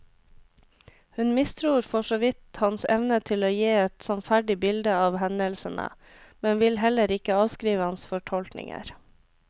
Hun mistror for så vidt hans evne til å gi et sannferdig bilde av hendelsene, men vil heller ikke avskrive hans fortolkninger.